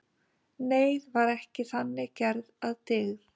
Neyð var þannig gerð að dygð.